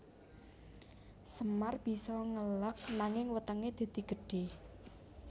Semar bisa ngeleg nanging wetenge dadi gedhe